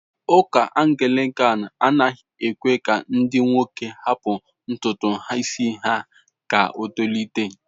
Ụka Anglican anaghị ekwe ka ndi nwoke ha hapụ ntutu isi ha ka o tolite.